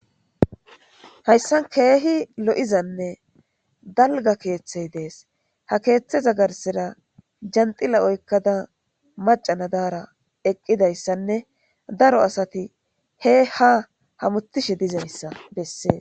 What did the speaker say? hayssan keehi lo7izanne dalga keeththey dees ha keeththeza garsira janxila oykkada macanadaara eqqidayssanne daro asati he ha hamutishe dizayssa bessee